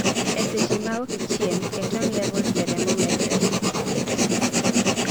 e seche ma okichiem, ketone levels e remo medore(ketosis)